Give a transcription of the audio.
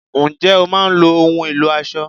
Ǹjẹ́ o máa ń lo ohùn ẹ̀lò aṣọ?